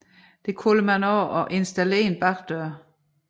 Det kalder man også at installere en bagdør